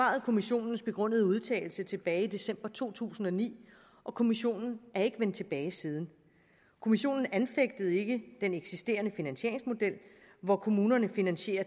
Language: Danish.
kommissionens begrundede udtalelse tilbage i december to tusind og ni og kommissionen er ikke vendt tilbage siden kommissionen anfægtede ikke den eksisterende finansieringsmodel hvor kommunerne finansierer